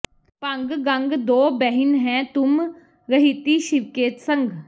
ਭੰਗ ਗੰਗ ਦੋ ਬਹਿਨ ਹੈਂ ਤੁਮ ਰਹਿਤੀ ਸ਼ਿਵ ਕੇ ਸੰਗ